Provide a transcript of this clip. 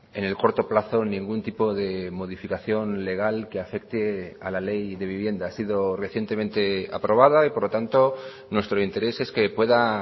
en el corto plazo ningún tipo de modificación legal que afecte a la ley de vivienda ha sido recientemente aprobada y por lo tanto nuestro interés es que pueda